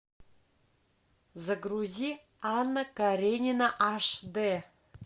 загрузи анна каренина аш дэ